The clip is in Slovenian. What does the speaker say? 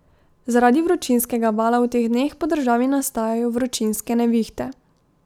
Zaradi vročinskega vala v teh dneh po državi nastajajo vročinske nevihte.